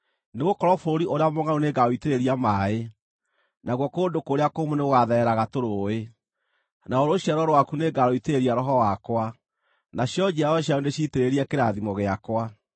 Nĩgũkorwo bũrũri ũrĩa mũngʼaru nĩngaũitĩrĩria maaĩ, nakuo kũndũ kũrĩa kũmũ nĩgũgathereraga tũrũũĩ; naruo rũciaro rwaku nĩngarũitĩrĩria Roho wakwa, nacio njiaro cianyu ndĩciitĩrĩrie kĩrathimo gĩakwa.